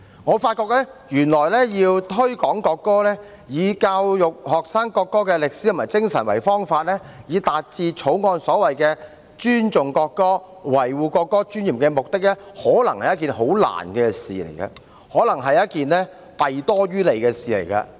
我發覺原來要推廣國歌，以教育學生國歌的歷史和精神為方法，達致《條例草案》所謂的尊重國歌，維護國歌尊嚴的目的，可能是一件很困難的事，可能是一件弊多於利的事。